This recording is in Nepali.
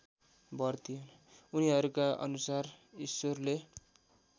उनीहरूका अनुसार ईश्वरले